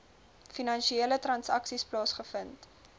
finansiële transaksies plaasgevind